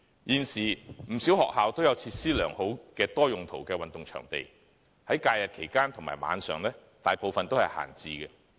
現時，不少學校均設有多用途運動場地，附設良好的設施，但在假日和晚上，大部分都是閒置的。